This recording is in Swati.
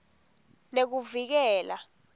nekuvikela